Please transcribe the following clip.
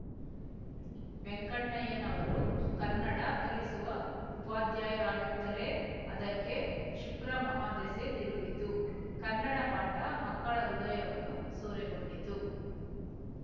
ವೆಂಕಣ್ಣಯ್ಯನವರು ಕನ್ನಡ ಕಲಿಸುವ ಉಪಾಧ್ಯಾಯರಾಗುತ್ತಲೇ ಅದಕ್ಕೆ ಶುಕ್ರಮಹಾದೆಸೆ ತಿರುಗಿತು ಕನ್ನಡ ಪಾಠ ಮಕ್ಕಳ ಹೃದಯವನ್ನು ಸೂರೆಗೊಂಡಿತು